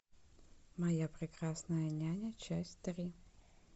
моя прекрасная няня часть три